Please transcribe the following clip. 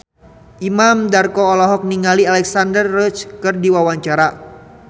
Imam Darto olohok ningali Alexandra Roach keur diwawancara